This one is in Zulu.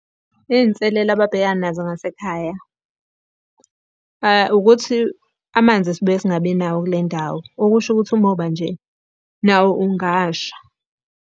Iy'nselelo ababhekana nazo ngasekhaya, ukuthi amanzi sibuye singabi nawo kule ndawo okusho ukuthi umoba nje nawo ungasha.